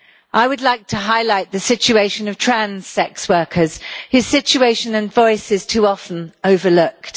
I would like to highlight the situation of trans sex workers, whose situation and voice is too often overlooked.